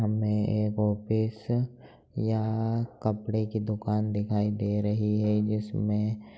हमें एक ऑफिस या कपड़े की दुकान दिखाई दे रही है जिसमें --